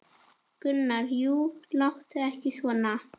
Gunnar: Jú, láttu ekki svona.